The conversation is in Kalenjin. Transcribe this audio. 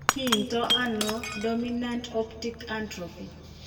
Kiinto ano dominant optic atrophy?